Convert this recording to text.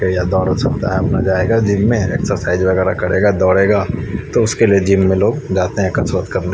जायेगा जिम में एक्सरसाइज वगेरा करेगा दोडेगा तो इसलिए लोग जाते है जिम में कसरत करने--